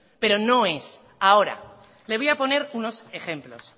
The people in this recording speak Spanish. pero no es ahora le voy a poner unos ejemplos